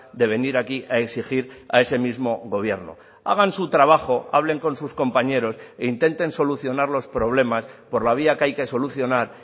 de venir aquí a exigir a ese mismo gobierno hagan su trabajo hablen con sus compañeros e intenten solucionar los problemas por la vía que hay que solucionar